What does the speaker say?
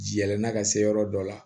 Yɛlɛnna ka se yɔrɔ dɔ la